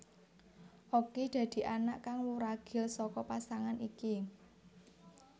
Okky dadi anak kang wuragil saka pasangan iki